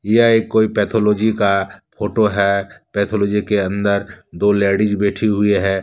यह एक कोई पैथोलॉजी का फोटो है पैथोलॉजी के अंदर दो लेडीज बैठी हुई है।